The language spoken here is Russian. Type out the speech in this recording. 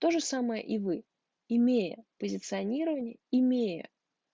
тоже самое и вы имея позиционирование имея